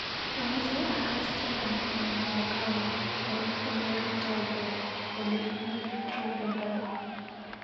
Amache akas tyendo nebo wanavokali eng oleruptaike olekitrompendai.